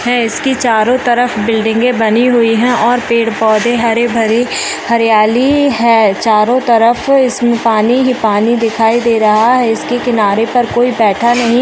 है इसके चारों तरफ बिल्डिंगे बनी हुई है और पेड़ पौधे हरे-भरे हरियाली है चारों तरफ इसमें पानी ही पानी दिखाई दे रहा है इसके किनारे पर कोई बैठा नहीं--